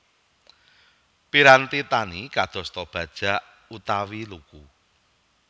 Piranti tani kadosta bajak utawi luku